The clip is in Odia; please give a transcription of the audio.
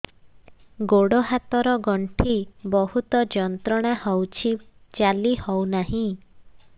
ଗୋଡ଼ ହାତ ର ଗଣ୍ଠି ବହୁତ ଯନ୍ତ୍ରଣା ହଉଛି ଚାଲି ହଉନାହିଁ